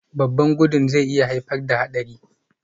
Babban gudun zai iya haifar da haɗari